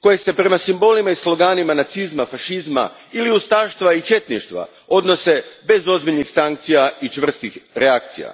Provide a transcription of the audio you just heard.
koje se prema simbolima i sloganima nacizma, fašizma ili ustaštva i četništva odnose bez ozbiljnih sankcija i čvrstih reakcija.